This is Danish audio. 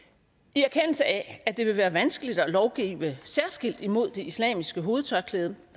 erkendelse af at det vil være vanskeligt at lovgive særskilt imod det islamiske hovedtørklæde